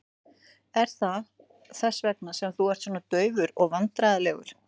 Er það þess vegna sem þú ert svona daufur og vandræðalegur?